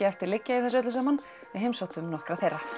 eftir liggja í þessu öllu saman við heimsóttum nokkra þeirra